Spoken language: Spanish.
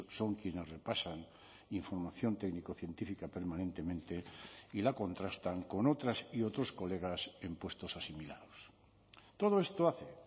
son quienes repasan información técnico científica permanentemente y la contrastan con otras y otros colegas en puestos asimilados todo esto hace